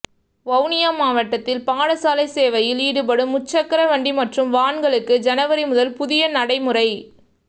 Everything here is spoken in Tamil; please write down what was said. வவுனியா மாவட்டத்தில் பாடசாலை சேவையில் ஈடுபடும் முச்சக்கரவண்டி மற்றும் வான்களுக்கு ஜனவரி முதல் புதிய நடைமுறை